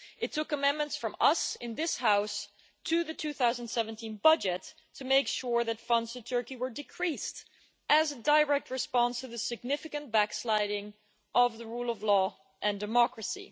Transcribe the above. It took amendments from us in this House to the 2017 budget to make sure that funds to Turkey were decreased as a direct response to the significant backsliding of the rule of law and democracy.